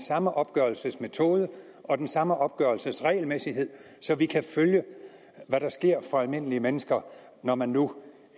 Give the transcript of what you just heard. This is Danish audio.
samme opgørelsesmetode og den samme opgørelsesregelmæssighed så vi kan følge hvad der sker for almindelige mennesker når man nu